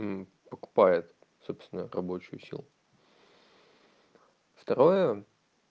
покупает собственно рабочую силу второе